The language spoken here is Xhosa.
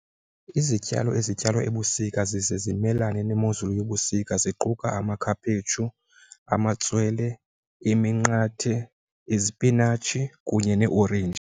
Izityalo ezityalwa ebusika zize zimelane nemozulu yobusika ziquka amakhaphetshu, amatswele, iminqathe, izipinatshi kunye neeorenji.